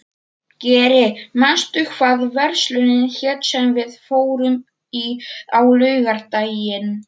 Geri, manstu hvað verslunin hét sem við fórum í á laugardaginn?